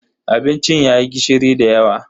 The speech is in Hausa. Abincin yayi gishiri dayawa.